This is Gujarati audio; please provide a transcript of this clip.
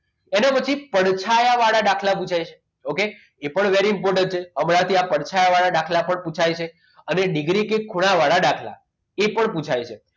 એના ઉપરથી પડછાયા વાળા દાખલા પુછાય okay એ પણ very important હમણાંથી આ પડછાયા વાળા દાખલા પણ પુછાય છે. અને ડિગ્રી કે ખૂણા વાળા દાખલા એ પણ પુછાય છે.